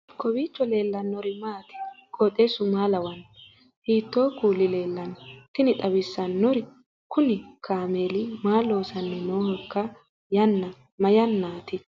kowiicho leellannori maati ? qooxeessu maa lawaanno ? hiitoo kuuli leellanno ? tini xawissannori kuni kaameli maa lossanni noohoiika yanna mayannati